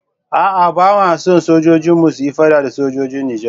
A'a, ba ma son sojojinmu su yi fada da sojojin Nijar.